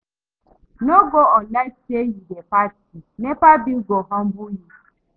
No go on light like say you dey party, NEPA bill go humble you.